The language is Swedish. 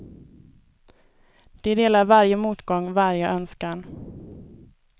De delar varje motgång, varje önskan.